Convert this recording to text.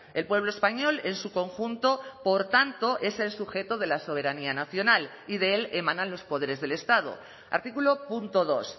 el pueblo español en su conjunto por tanto es el sujeto de la soberanía nacional y de él emanan los poderes del estado artículo punto dos